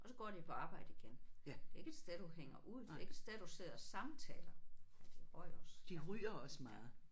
Og så går de på arbejde igen. Det er ikke et sted du hænger det er ikke et sted du sidder og samtaler. Og de røg også ja ja